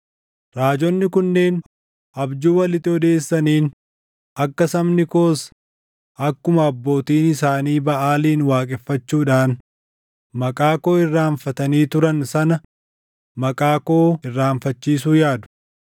Raajonni kunneen abjuu walitti odeessaniin akka sabni koos akkuma abbootiin isaanii Baʼaalin waaqeffachuudhaan maqaa koo irraanfatanii turan sana maqaa koo irraanfachiisuu yaadu.